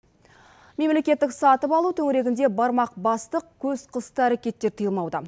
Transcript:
мемлекеттік сатып алу төңірегінде бармақ басты көз қысты әрекеттер тиылмауда